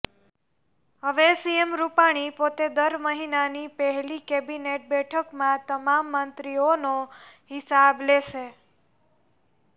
હવે સીએમ રુપાણી પોતે દર મહિનાની પહેલી કેબિનેટ બેઠકમાં તમામ મંત્રીઓનો હિસાબ લેશે